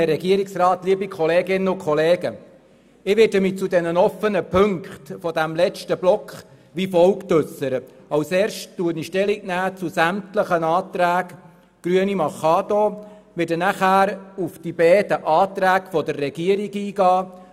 der SiK. Zuerst nehme ich zu sämtlichen Anträgen der Grünen Stellung, anschliessend gehe ich auf die beiden Anträge der Regierung ein.